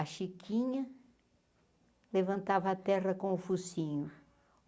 A chiquinha levantava a terra com o focinho.